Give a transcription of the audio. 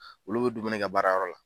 Olu bɛ dumuni kɛ baarayɔrɔ la.